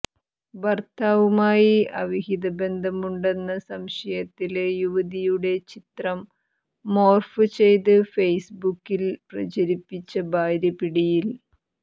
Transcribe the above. ഭര്ത്താവുമായി അവിഹിതബന്ധമുണ്ടെന്ന സംശയത്തില് യുവതിയുടെ ചിത്രം മോര്ഫ് ചെയ്ത് ഫെയ്സ്ബുക്കിൽ പ്രചരിപ്പിച്ച ഭാര്യ പിടിയിൽ